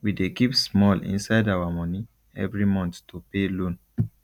we dey keep small inside our money every month to pay loan